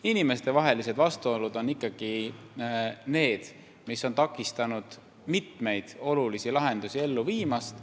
Inimestevahelised vastuolud on ikkagi need, mis on takistanud mitmeid olulisi lahendusi ellu viimast.